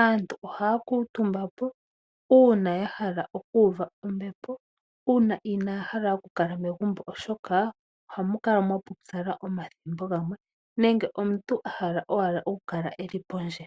aantu ohaya kuutumba po uuna yahala okuuva ombepo , inaayahala okukala megumbo oshoka ohamu kala mwaputsala ethimbo limwe nenge omuntu ahala owala okukala pondje.